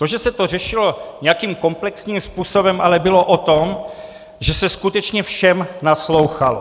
To, že se to řešilo nějakým komplexním způsobem, ale bylo o tom, že se skutečně všem naslouchalo.